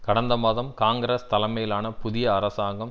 கடந்த மாதம் காங்கிரஸ் தலைமையிலான புதிய அரசாங்கம்